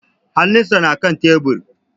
Hanun sa na kan tebur